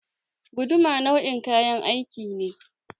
Guduma nau'in kayan aiki ne.